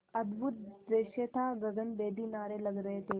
अद्भुत दृश्य था गगनभेदी नारे लग रहे थे